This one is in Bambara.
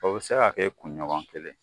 O bɛ se ka kɛ kunɲɔgɔn kelen.